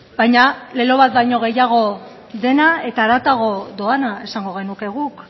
baina lelo bat baino gehiago dena eta haratago doana esango genuke guk